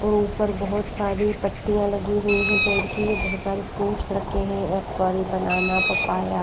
और ऊपर बहुत सारी पत्तियां लगी हुई है पेड़ की और बहुत सारे फ्रूट्स रखे हैं एप्पल बनाना पपाया --